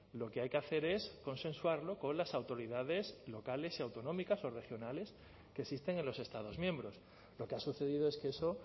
lo que hay que hacer es consensuarlo con las autoridades locales y autonómicos o regionales que existen en los estados miembros lo que ha sucedido es que eso